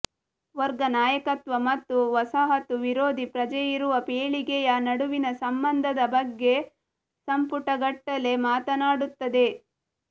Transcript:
ವರ್ಗ ನಾಯಕತ್ವ ಮತ್ತು ವಸಾಹತು ವಿರೋಧಿ ಪ್ರಜ್ಞೆಯಿರುವ ಪೀಳಿಗೆಯ ನಡುವಿನ ಸಂಬಂಧದ ಬಗ್ಗೆ ಸಂಪುಟಗಟ್ಟಲೇ ಮಾತನಾಡುತ್ತದೆ